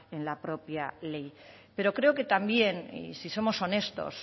en la propia ley pero creo que también y si somos honestos